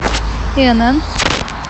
инн